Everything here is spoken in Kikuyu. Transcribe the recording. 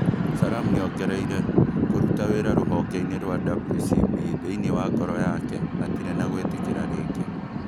Sallam nĩongereire "Kũruta wĩra rũhonge-inĩ rwa WCB, thĩine wa ngoro yake, hatirĩ na gwĩtĩkĩra rĩngĩ"